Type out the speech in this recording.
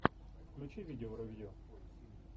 включи видео ревью